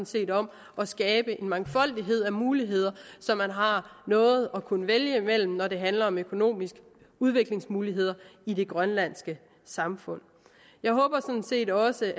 set om at skabe en mangfoldighed af muligheder så man har noget at kunne vælge imellem når det handler om økonomiske udviklingsmuligheder i det grønlandske samfund jeg håber sådan set også